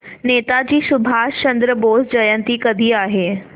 नेताजी सुभाषचंद्र बोस जयंती कधी आहे